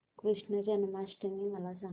कृष्ण जन्माष्टमी मला सांग